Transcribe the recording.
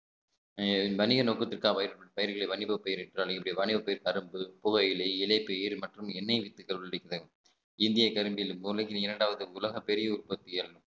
வணிக நோக்கத்திற்காக பயிர்களை வணிகப் பயிரிட்டாலும் என்னுடைய வணிகப் பயிர் தழும்பு, புகையிலை, இலைப்பு ஈறு மற்றும் எண்ணெய் விற்பதை இந்தியக் கரும்பில் உலகில் இரண்டாவது உலகப் பெரிய உற்பத்தி ஏறணும்